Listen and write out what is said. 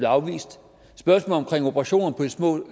afvist spørgsmålet om operationer på de små